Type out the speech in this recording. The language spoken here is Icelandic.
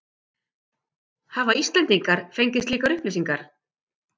Hafa Íslendingar fengið slíkar upplýsingar?